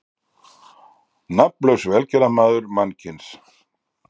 Nafnlaus velgerðarmaður mannkyns.